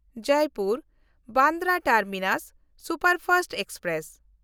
ᱡᱚᱭᱯᱩᱨ–ᱵᱟᱱᱫᱨᱟ terminus superfast express